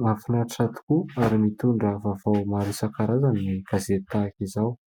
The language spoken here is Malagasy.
Mahafinaritra tokoa ary mitondra vaovao maro isan-karazany ny gazety tahaka izao.